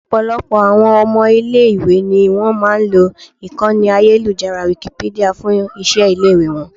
Ọ̀pọ̀lọpọ̀ àwọn ọmọ ilẹ̀ ìwé ni wón máa lo ìkànnì ayélujára Wikipedia fún iṣẹ́ ilé ìwé wọn.